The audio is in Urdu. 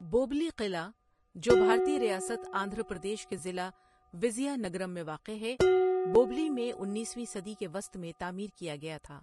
بوبلی قلعہ، جو بھارتی ریاست آندھر پردیش کے ضلع وزیا نگرم میں واقع ہے، بوبلی میں انیسویں صدی کے وسط میں تعمیر کیا گیا تھا۔